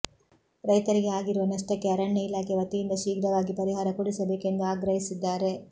ರೈತರಿಗೆ ಆಗಿರುವ ನಷ್ಟಕ್ಕೆ ಅರಣ್ಯ ಇಲಾಖೆ ವತಿಯಿಂದ ಶೀಘ್ರವಾಗಿ ಪರಿಹಾರ ಕೊಡಿಸ ಬೇಕೆಂದು ಆಗ್ರಹಿಸಿದ್ದಾರೆ